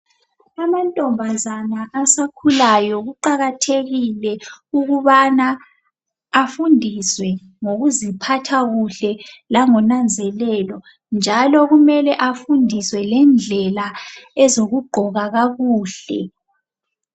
Amantombazana asakhulayo kuqakathekile ukubana afundiswe ngokuziphatha kuhle langonanzelelo njalo kumele afundiswe lendlela ezokugqoka kakuhle.